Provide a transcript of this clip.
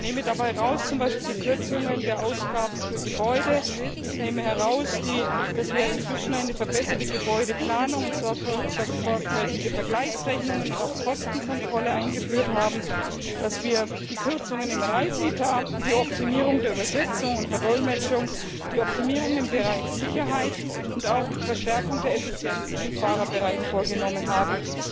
Ich greife dabei zum Beispiel die Kürzungen der Ausgaben für Gebäude heraus, ich greife heraus, dass wir inzwischen eine verbesserte Gebäudeplanung, sorgfältige Vergleichsrechnungen und auch Kostenkontrolle eingeführt haben, dass wir die Kürzungen im Reiseetat, die Optimierung der Übersetzung und Verdolmetschung, die Optimierung im Bereich Sicherheit und auch die Verstärkung der Effizienz im Fahrerbereich vorgenommen haben.